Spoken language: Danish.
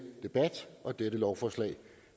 debat og dette lovforslag